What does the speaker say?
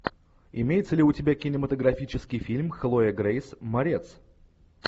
имеется ли у тебя кинематографический фильм хлоя грейс морец